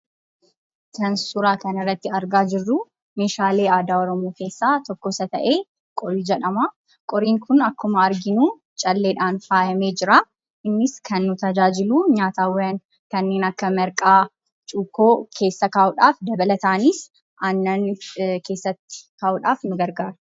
Kan suuraa kana irratti argaa jirru meeshaale aadaa Oromoo keessaa tokko isa ta'e "Qorii" jedhama. Qoriin kun akkuma arginu calleedhaan faayamee jira. Innis kan nu tajaajilu nyaatawwan kanneen akka marqaa, cukkoo keessa kaa'udhaaf dabalataanis, aannan keessa kaa'udhaaf nu gargaara.